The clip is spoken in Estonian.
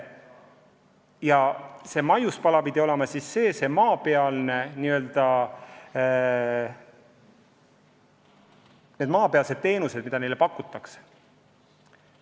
Üks maiuspala peaks olema maapealsed teenused, mida neile pakutakse.